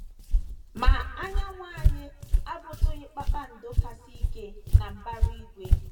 Ma, anyanwụ anyị abụtụghị kpakpando kasị ike na mbara igwe.